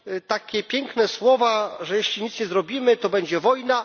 takie piękne słowa, że jeśli nic nie zrobimy, to będzie wojna.